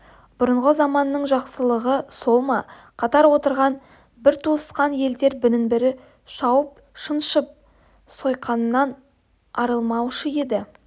бұрынғы заманның жақсылығы сол ма қатар отырған бір туысқан елдер бірін-бірі шауып шаншып сойқаннан арылмаушы еді